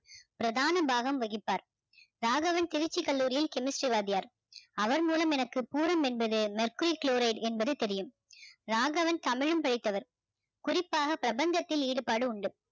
பிரதான பாகம் வகிப்பார் ராகவன் திருச்சி கல்லூரியில் chemistry வாத்தியார் அவர் மூலம் எனக்கு பூரம் என்பது mercury chloride என்பது எனக்கு தெரியும் ராகவன் தமிழும் படித்தவர் குறிப்பாக பிரபஞ்சத்தில் ஈடுபாடு உண்டு